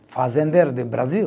Fazendeiro de Brasil.